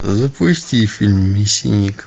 запусти фильм мясник